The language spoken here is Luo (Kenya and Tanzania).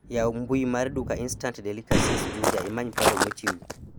yaw mbui mar duka instant delicacies juja imany paro mochiw